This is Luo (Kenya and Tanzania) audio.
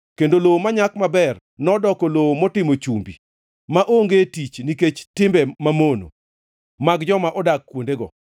kendo lowo manyak maber nodoko lowo motimo chumbi, maonge tich nikech timbe mamono mag joma nodak kuondego.